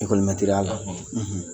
la